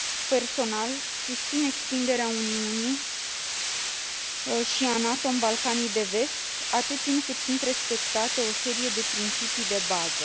Personal, susțin extinderea Uniunii și a NATO în Balcanii de Vest atât timp cât sunt respectate o serie de principii de bază.